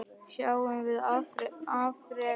Sjáum við afrek Jesú?